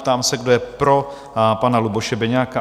Ptám se, kdo je pro pana Luboše Beniaka?